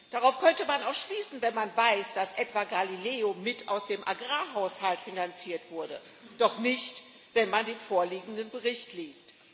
Darauf könnte man auch schließen, wenn man weiß, dass etwa Galileo aus dem Agrarhaushalt mitfinanziert wurde, doch nicht, wenn man den vorliegenden Bericht liest.